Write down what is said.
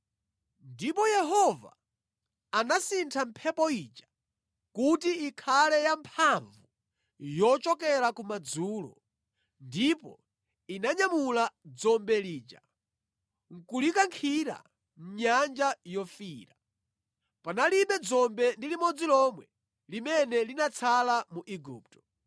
Ndipo Yehova anasintha mphepo ija kuti ikhale ya mphamvu yochokera ku madzulo, ndipo inanyamula dzombe lija nʼkulikankhira mʼNyanja Yofiira. Panalibe dzombe ndi limodzi lomwe limene linatsala mu Igupto.